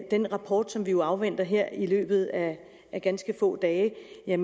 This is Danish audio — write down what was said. den rapport som vi afventer her i løbet af ganske få dage